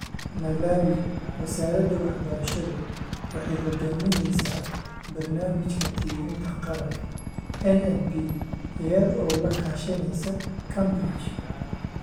Malawi, Wasaaradda Waxbarashadu waxay hogaaminaysaa Barnaamijka Tirinta Qaranka (NNP), iyada oo la kaashanaysa Cambridge